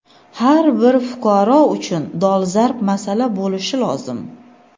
har bir fuqaro uchun dolzarb masala bo‘lishi lozim.